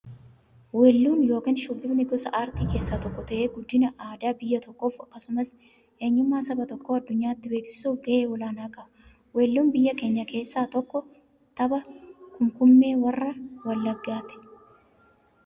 Weelluun yookin shubbifni gosa aartii keessaa tokko ta'ee, guddina aadaa biyya tokkoof akkasumas eenyummaa saba tokkoo addunyyaatti beeksisuuf gahee olaanaa qaba. Weelluun biyya keenyaa keessaa tokko tapha kumkummee warra wallaggaati.